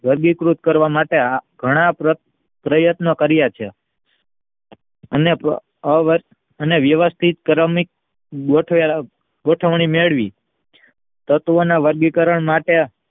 વર્ગીકૃત કરવા માટે ઘણા પ્રયત્નો કાર્ય છે અને રિવસ્થિત ગોઠવણી મેળવી તત્વ ના વર્ગીકરણ માટે